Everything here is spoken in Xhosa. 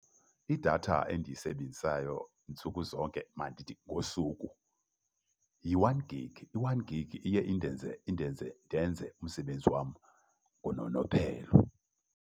Idatha endiyisebenzisayo ntsuku zonke mandithi ngosuku yi-one gig. I-one gig iye indenze ndenze umsebenzi wam ngononophelo.